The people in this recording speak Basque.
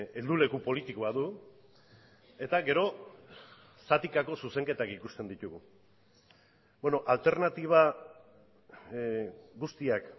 helduleku politikoa du eta gero zatikako zuzenketak ikusten ditugu alternatiba guztiak